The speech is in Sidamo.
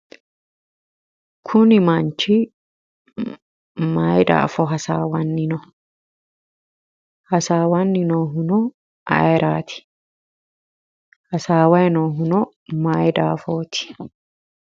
Kuni manchi maayi daafo hasaawanni no? Hasaawanni noohuno ayiraati? Hasaawayi noohuno maayi daafooti?